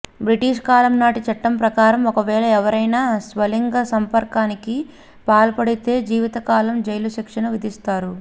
British కాలం నాటి చట్టం ప్రకారం ఒకవేళ ఎవరైనా స్వలింగ సంపర్కానికి పాల్పడితే జీవిత కాల జైలు శిక్షను విధిస్తారు